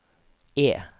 E